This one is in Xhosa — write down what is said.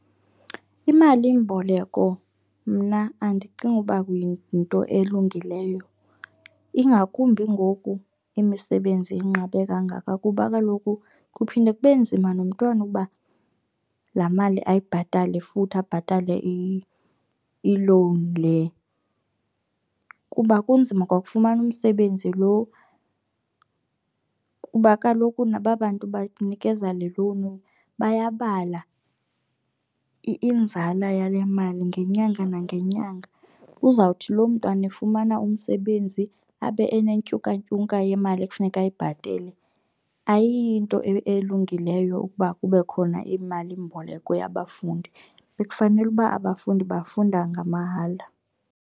Imalimboleko mna andicingi uba yinto elungileyo ingakumbi ngoku imisebenzi inqabe kangaka kuba kaloku kuphinde kube nzima nomntwana ukuba laa mali ayibhatale futhi abhatale ilowuni le. Kuba kunzima kwa kufumana umsebenzi lo kuba kaloku naba bantu banikeza le lowuni bayabala inzala yale mali ngenyanga nangenyanga. Uzawuthi loo mntwana efumana umsebenzi abe enentyuka ntyuka yemali ekufuneka ayibhatele. Ayiyiyo nto elungileyo ukuba kube khona imalimboleko yabafundi, bekufanele uba abafundi bafunda ngamahala.